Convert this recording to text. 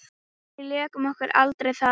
Við lékum okkur aldrei þar.